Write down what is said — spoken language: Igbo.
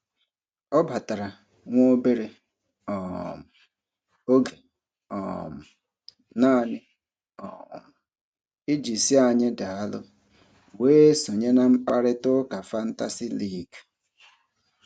Ọ batara nwa obere um oge um naanị um iji sị anyị daalụ, wee sonye na mkparịtaụka fantasi liigi.